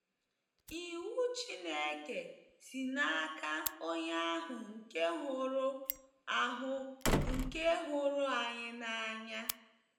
Iwu Chineke si n’aka Onye ahụ nke hụrụ ahụ nke hụrụ anyị n’anya.